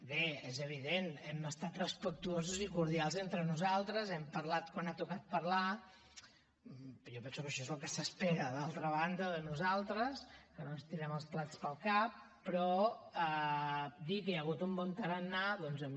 bé és evident hem estat respectuosos i cordials entre nosaltres hem parlat quan ha tocat parlar jo penso que això és el que s’espera d’altra banda de nosaltres que no ens tirem els plats pel cap però dir que hi ha hagut un bon tarannà doncs a mi